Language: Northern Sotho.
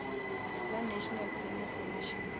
la national planning commission